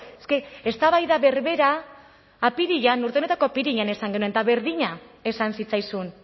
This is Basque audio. es que eztabaida berbera apirilean urte honetako apirilean esan genuen eta berdina esan zitzaizun